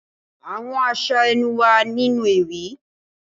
Àwọn aṣa ẹnu wa ninu ewi.